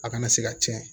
A kana se ka cɛn